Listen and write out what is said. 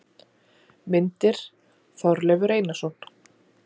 Myndir: Þorleifur Einarsson.